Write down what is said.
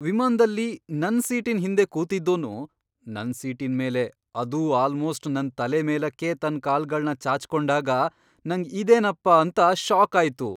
ವಿಮಾನ್ದಲ್ಲಿ ನನ್ ಸೀಟಿನ್ ಹಿಂದೆ ಕೂತಿದ್ದೋನು ನನ್ ಸೀಟಿನ್ ಮೇಲೆ ಅದೂ ಆಲ್ಮೋಸ್ಟ್ ನನ್ ತಲೆ ಮೇಲಕ್ಕೇ ತನ್ ಕಾಲ್ಗಳ್ನ ಚಾಚ್ಕೊಂಡಾಗ ನಂಗ್ ಇದೇನಪ್ಪಾ ಅಂತ ಷಾಕ್ ಆಯ್ತು.